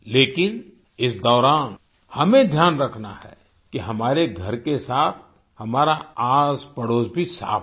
लेकिन इस दौरान हमें ध्यान रखना है कि हमारे घर के साथ हमारा आसपड़ोस भी साफ़ रहे